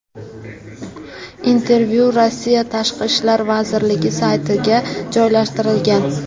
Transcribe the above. Intervyu Rossiya tashqi ishlar vazirligi saytiga joylashtirilgan .